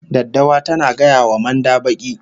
Daddawa tana gaya wa manda baki